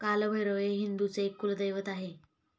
कालभैरव हे हिंदूंचे एक कुलदैवत आहे.